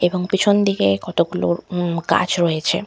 এবং পেছন দিকে কতগুলো উম গাছ রয়েছে।